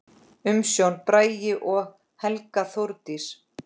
Umsjón: Bragi og Helga Þórdís.